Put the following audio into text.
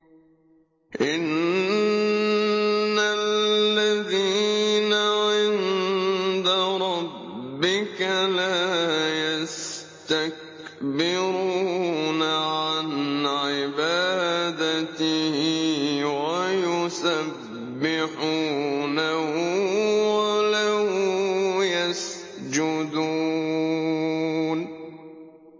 إِنَّ الَّذِينَ عِندَ رَبِّكَ لَا يَسْتَكْبِرُونَ عَنْ عِبَادَتِهِ وَيُسَبِّحُونَهُ وَلَهُ يَسْجُدُونَ ۩